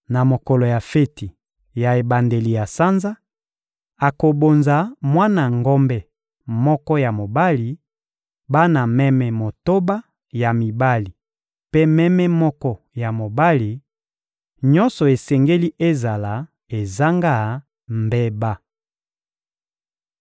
Na mokolo na feti ya ebandeli ya sanza, akobonza mwana ngombe moko ya mobali, bana meme motoba ya mibali mpe meme moko ya mobali: nyonso esengeli ezala ezanga mbeba.